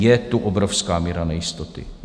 Je tu obrovská míra nejistoty.